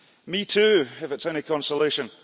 Me too, if it's any consolation!